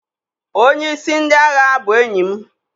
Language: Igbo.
onye-isi ndi agha bu enyim.